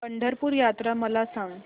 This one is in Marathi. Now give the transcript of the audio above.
पंढरपूर यात्रा मला सांग